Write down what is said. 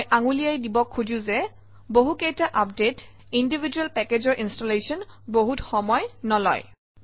মই আঙুলিয়াই দিব খোজোঁ যে বহুকেইটা আপডেট ইণ্ডিভিজুৱেল পেকেজৰ ইনষ্টলেশ্যনে বহুতো সময় নলয়